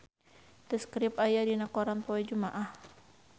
The Script aya dina koran poe Jumaah